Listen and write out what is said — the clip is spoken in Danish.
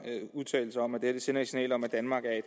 udtalt sig om at det sender et signal om at danmark er